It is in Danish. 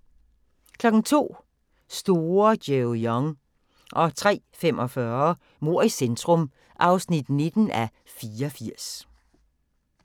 02:00: Store Joe Young 03:45: Mord i centrum (19:84)